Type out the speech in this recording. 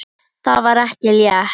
Það var ekki létt.